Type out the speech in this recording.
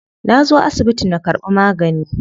Na zo asibiti na karbi magani.